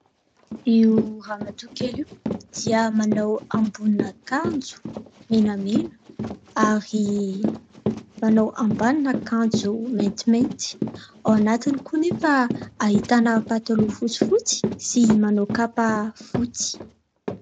Io ramatoakely io dia manao ambonin'ankanjo menamena ary manao ambanin'akanjo maintimainty. Ao anatiny koa nefa ahitana pataloha fotsifotsy sy manao kapa fotsy.